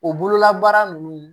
O bololabaara ninnu